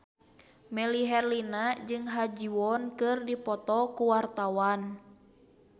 Melly Herlina jeung Ha Ji Won keur dipoto ku wartawan